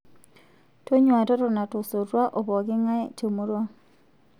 Tonyuaa totona tosotua o pooki ng'ae te murua